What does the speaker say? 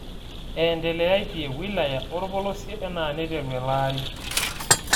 Eendeleaitie wilaya olopolosie enaa neiteru ele aari